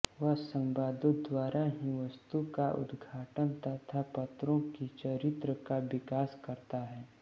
वह संवादों द्वारा ही वस्तु का उदघाटन तथा पात्रों के चरित्र का विकास करता है